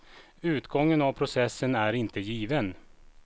Utgången av processen är inte given.